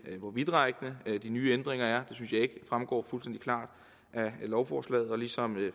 hvor vidtrækkende de nye ændringer er synes jeg ikke fremgår fuldstændig klart af lovforslaget ligesom